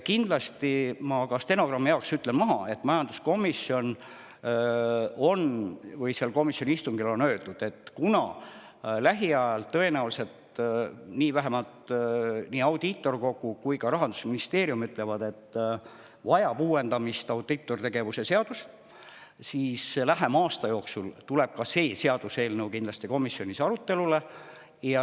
Kindlasti ütlen stenogrammi jaoks, et majanduskomisjoni istungil on öeldud, et kuna lähiajal tõenäoliselt – vähemalt nii audiitorkogu kui ka Rahandusministeerium ütlevad seda – vajab uuendamist audiitortegevuse seadus, siis lähema aasta jooksul tuleb ka see seaduseelnõu kindlasti komisjonis arutelule.